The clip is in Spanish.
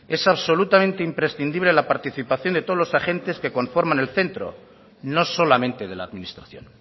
es absolutamente imprescindible la participación de todos los agentes que conforman el centro no solamente de la administración